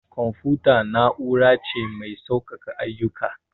Confuta na'ura ce mai sauƙake ayyuka.